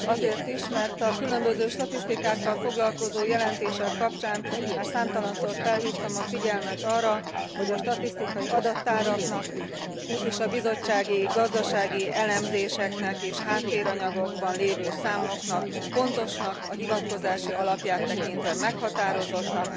Azért is, mert a különböző statisztikákkal foglalkozó jelentések kapcsán már számtalanszor felhívtam a figyelmet arra, hogy a statisztikai adattáraknak és a bizottsági, gazdasági elemzéseknek és a háttéranyagokban lévő számoknak pontosnak, a hivatkozási alapját tekintve meghatározottnak,